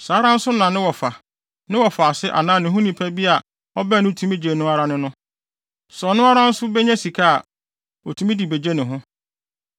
Saa ara nso na ne wɔfa, ne wɔfaase anaa ne ho nipa bi a ɔbɛn no tumi gye no ara ne no. Sɛ ɔno ara nso benya sika a, otumi de begye ne ho.